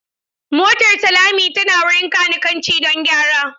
Motar Salami tana wurin kanikanci don gyara.